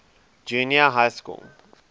junior high school